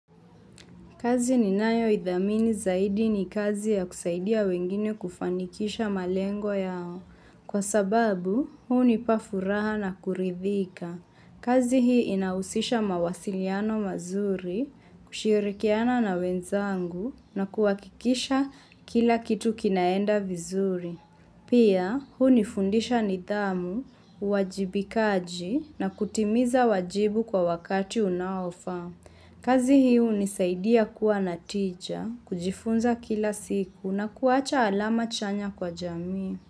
Kazi ni nayoidhamini zaidi ni kazi ya kusaidia wengine kufanikisha malengo yao. Kwa sababu, hunipa furaha na kuridhika. Kazi hii inahusisha mawasiliano mazuri, kushirikiana na wenzangu na kuhakikisha kila kitu kinaenda vizuri. Pia, hunifundisha nidhamu, uwajibikaji na kutimiza wajibu kwa wakati unaofaa. Kazi hii hunisaidia kuwa na tija, kujifunza kila siku na kuacha alama chanya kwa jamii.